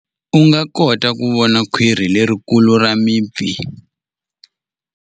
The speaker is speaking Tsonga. U nga kota ku vona khwiri lerikulu ra mipfi.